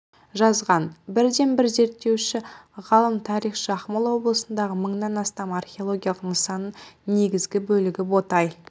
жазған бірден бір зерттеуші ғалым тарихшы ақмола облысындағы мыңнан астам археологиялық нысанның негізгі бөлігі ботай